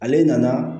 Ale nana